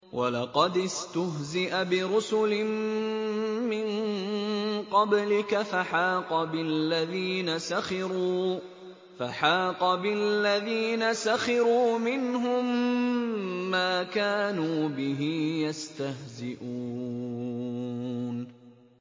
وَلَقَدِ اسْتُهْزِئَ بِرُسُلٍ مِّن قَبْلِكَ فَحَاقَ بِالَّذِينَ سَخِرُوا مِنْهُم مَّا كَانُوا بِهِ يَسْتَهْزِئُونَ